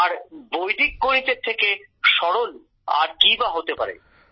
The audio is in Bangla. আর বৈদিক গণিতের থেকে সরল আর কি বা হতে পারে